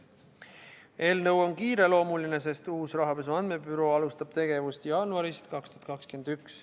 Eelnõu on kiireloomuline, sest uus Rahapesu Andmebüroo alustab tegevust jaanuarist 2021.